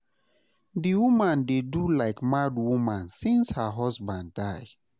Di woman dey do like mad woman since her husband die.